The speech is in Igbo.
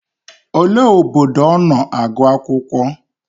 Olee obodo ọ nọ agụ akwụkwọ?